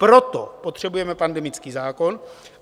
Proto potřebujeme pandemický zákon.